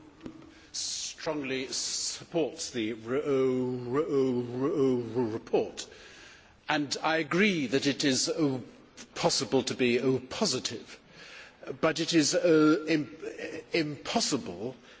strongly supports the report, and I agree that it is possible to be positive but it is impossible to be